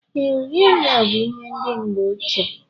Ee, uri anya bú ihe ndị mgbe ochie